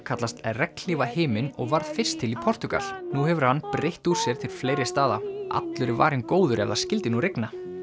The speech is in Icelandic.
kallast og varð fyrst til í Portúgal nú hefur hann breitt úr sér til fleiri staða allur er varinn góður ef það skyldi nú rigna